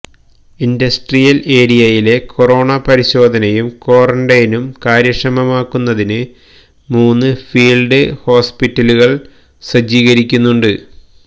industrial ഏരിയയിലെ corona പരിശോധനയും ക്വാരന്റൈനും കാര്യക്ഷമമാക്കുന്നതിന് മൂന്ന് ഫീല്ഡ് ഹോസ്പിറ്റലുകള് സജ്ജീകരിക്കുന്നുണ്ട്